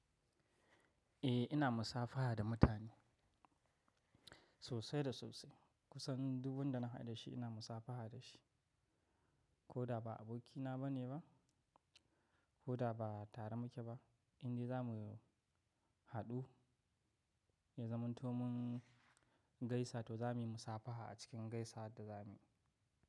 Eh ina musafaha da mutane sosai da sosai. Kusan duk wanda na haɗu dashi ina musafaha dashi. Ko da ba abokina bane ba, ko da ba tare muke ba, indai za mu haɗu ya zama to mun gaisa to za muyi musafaha a cikin gaisa da za muyi.